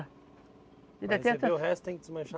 Para receber o resto tem que desmanchar